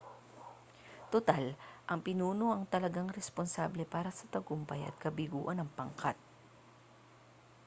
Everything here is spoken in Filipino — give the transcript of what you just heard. tutal ang pinuno ang talagang responsable para sa tagumpay at kabiguan ng pangkat